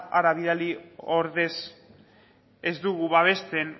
hara bidali ordez ez dugu babesten